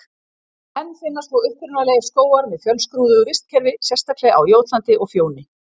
Enn finnast þó upprunalegir skógar með fjölskrúðugu vistkerfi, sérstaklega á Jótlandi og Fjóni.